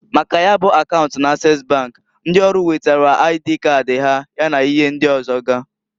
Maka ya bụ akaunt n'Ases bank, ndi ọrụ wetara aidii kadị ha, ya na ihe ndị ọzọga.